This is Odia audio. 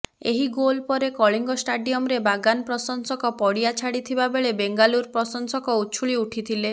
ଏହି ଗୋଲ୍ ପରେ କଳିଙ୍ଗ ଷ୍ଟାଡିୟମ୍ର ବାଗାନ୍ ପ୍ରଶଂସକ ପଡ଼ିଆ ଛାଡ଼ିଥିବାବେଳେ ବେଙ୍ଗାଲୁରୁ ପ୍ରଶଂସକ ଉଛୁଳି ଉଠିଥିଲେ